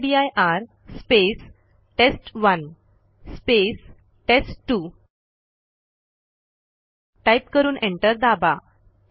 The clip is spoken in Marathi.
mkdir space test one space test two type करून एंटर दाबा